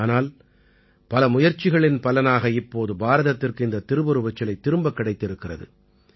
ஆனால் பல முயற்சிகளின் பலனாக இப்போது பாரதத்திற்கு இந்தத் திருவுருவச் சிலை திரும்பக் கிடைத்திருக்கிறது